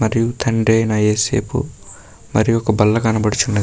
మరియు తండ్రి అయిన నా ఏసేబు మరియు ఒక బల్ల కనబడుచున్నది.